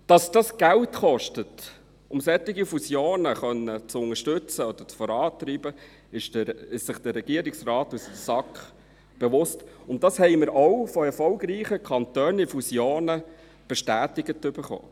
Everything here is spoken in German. Dass es Geld kostet, solche Fusionen zu unterstützen oder voranzutreiben, sind sich der Regierungsrat und die SAK bewusst, und dies haben wir auch von erfolgreichen Kantonen in Fusionen bestätigt erhalten.